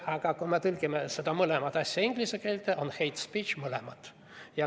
Aga kui me tõlgime need inglise keelde, on mõlemad hate speech.